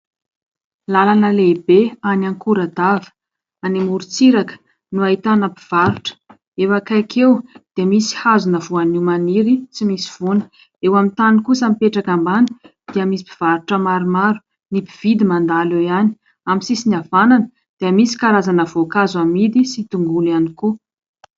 Lalana lehibe any Ankoradava any amoron-tsiraka no ahitana mpivarotra. Eo akaiky eo dia misy hazona voanio maniry tsy misy voany. Eo amin'ny tany kosa mipetraka ambany dia misy mpivarotra maromaro. Ny mpividy mandalo eo ihany. Amin'ny sisiny havanana dia misy karazana voankazo amidy sy tongolo ihany koa.